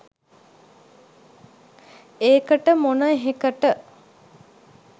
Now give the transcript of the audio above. ඒකට මොන එහෙකට